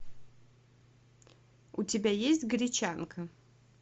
у тебя есть гречанка